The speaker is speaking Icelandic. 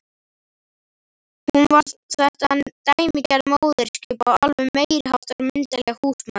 Hún var þetta dæmigerða móðurskip og alveg meiriháttar myndarleg húsmóðir.